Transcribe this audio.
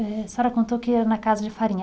Eh, a senhora contou que ia na casa de farinha.